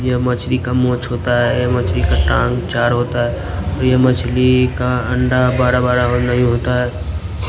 ये मछली का मौछ होता है मछली का टांग चार होता है यह मछली का अंडा बड़ा बड़ा और नहीं होता है।